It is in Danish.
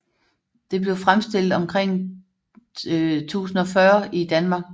Det blev fremstillet omkring 1040 i Danmark